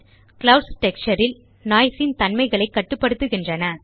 clouds texture ல் noise ன் தன்மைகளைக் கட்டுப்படுத்துகின்றன